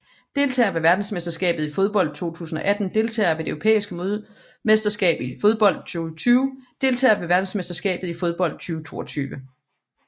Deltagere ved verdensmesterskabet i fodbold 2018 Deltagere ved det europæiske mesterskab i fodbold 2020 Deltagere ved verdensmesterskabet i fodbold 2022